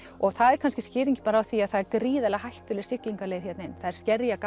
og það er kannski skýringin bara á því að það er gríðarlega hættuleg siglingaleið hérna inn það er